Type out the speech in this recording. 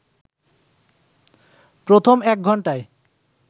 প্রথম এক ঘন্টায়